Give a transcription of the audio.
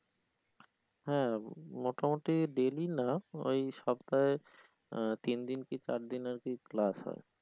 হ্যা মোটামুটি daily না ওই সপ্তাহে আহ তিনদিন কি চারদিন আরকি class হয়।